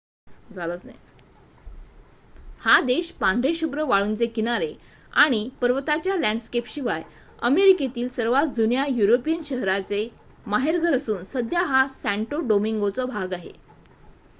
हा देश पांढरेशुभ्र वाळूंचे किनारे आणि पर्वताच्या लँडस्केपशिवाय अमेरिकेतील सर्वात जुन्या युरोपियन शहराचे माहेरघर असून सध्या हा सॅंटो डोमिंगोचा भाग आहे